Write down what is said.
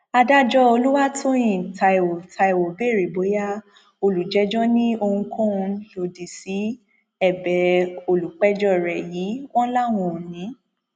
adájọ olùwàtòyìn taiwo taiwo béèrè bóyá olùjẹjọ ní ohunkóhun lòdì sí ẹbẹ olùpẹjọ rẹ yìí wọn làwọn ò ní